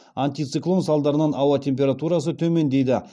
антициклон салдарынан ауа температурасы төмендейді